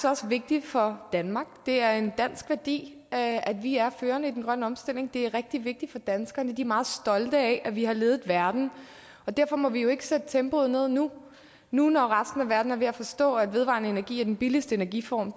også vigtigt for danmark det er en dansk værdi at vi er førende i den grønne omstilling det er rigtig vigtigt for danskerne de er meget stolte af at vi har ledet verden og derfor må vi jo ikke sætte tempoet ned nu nu når resten af verden er ved at forstå at vedvarende energi er den billigste energiform